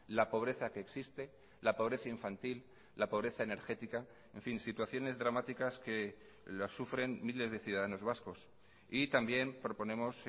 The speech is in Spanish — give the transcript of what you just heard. la pobreza que existe la pobreza infantil la pobreza energética en fin situaciones dramáticas que las sufren miles de ciudadanos vascos y también proponemos